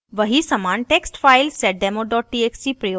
वही समान text file seddemo txt प्रयोग करके